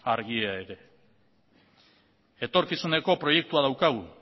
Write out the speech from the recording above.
argia ere etorkizuneko proiektua daukagu